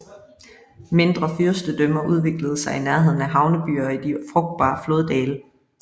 Mindre fyrstedømmer udviklede sig i nærheden af havnebyer og i de frugtbare floddale